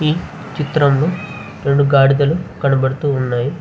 ఈ చిత్రం లో రెండు గాడిదలు కనపడతూ ఉన్నాయి.